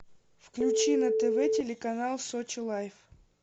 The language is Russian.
включи на тв телеканал сочи лайф